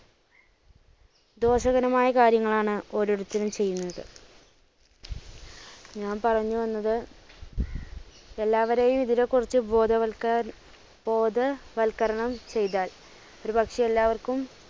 ദോഷകരമായ കാര്യങ്ങളാണ് ഓരോരുത്തരും ചെയ്യുന്നത്. ഞാൻ പറഞ്ഞ് വന്നത് എല്ലാവരെയും ഇതിനെ കുറിച്ച് ബോധവത്കർ~ബോധവത്കരണം ചെയ്‌താൽ ഒരുപക്ഷേ എല്ലാവർക്കും